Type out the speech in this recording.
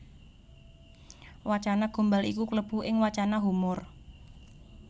Wacana Gombal iku klebu ing wacana humor